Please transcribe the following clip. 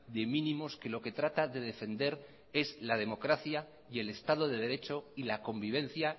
de mínimos que lo que trata de defender es la democracia y el estado de derecho y la convivencia